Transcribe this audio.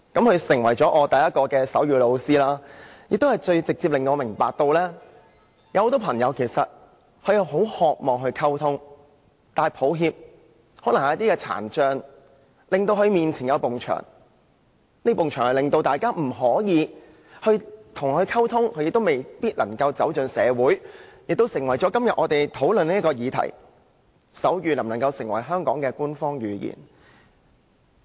他成為我首位手語老師，亦最直接地令我明白，有很多朋友其實很渴望與人溝通，但可惜，可能由於聽障的緣故，他們與別人之間出現一道牆壁，令大家未能與他們溝通，而他們也未必能走進社會，這成為我們今天討論的議題：手語能否成為香港的官方語言？